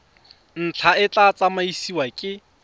ntlha e tla tsamaisiwa ke